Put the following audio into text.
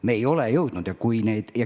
Me ei ole veel kõike jõudnud.